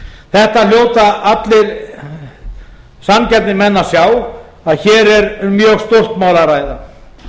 þetta hljóta allir sanngjarnir menn að sjá að hér er um mjög stórt mál að ræða